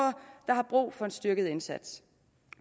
der har brug for en styrket indsats